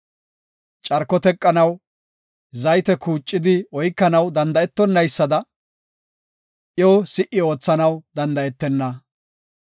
Carko teqanaw, zayte kuucidi oykanaw danda7etonaysada, iyo si77i oothanaw danda7etenna.